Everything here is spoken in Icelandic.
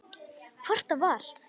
Hvort það var!